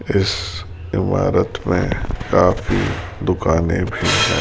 इस इमारत में काफी दुकाने भी हैं।